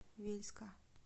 вельска